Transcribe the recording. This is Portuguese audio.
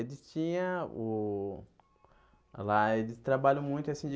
Eles tinham o... Lá eles trabalham muito, assim, de...